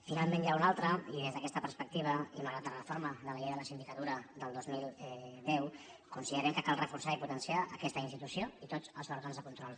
finalment n’hi ha un altre i des d’aquesta perspectiva i malgrat la reforma de la llei de la sindicatura del dos mil deu considerem que cal reforçar i potenciar aquesta institució i tots els òrgans de control